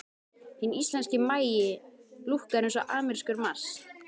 Hinn íslenski maí lúkkar eins og amerískur mars.